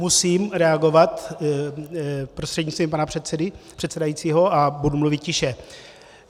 Musím reagovat prostřednictvím pana předsedajícího a budu mluvit tiše.